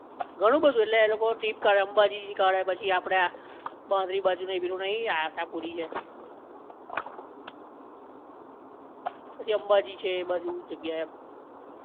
ઘણું બધુ ઍટલે એ લોકો ટ્રીપ કાઢે અંબાજી થી કાઢે, પછી આપડે આ માંડવી બાજુ નહિ આશાપુરી છે, પછી અંબાજી છે એ બાજુ જગ્યા એમ